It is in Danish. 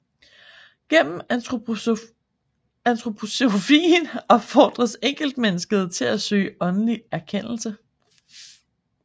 Gennem antroposofien opfordres enkeltmennesket til at søge åndelig erkendelse